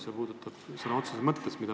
See puudutab neid sõna otseses mõttes.